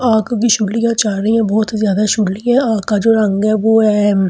बहोत ही ज्यादा का जो रंग है वो है--